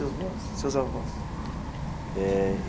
E seus avós seus avós? Eh.